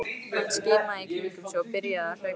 Hann skimaði í kringum sig og byrjaði að hlaupa.